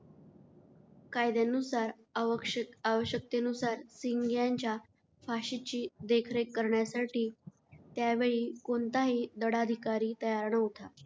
कायद्यानुसार आवक्ष आवश्यकतेनुसार सिंग यांच्या फाशीची देखरेख करण्यासाठी त्यावेळी कोणताही दंडाधिकारी तयार नव्हता.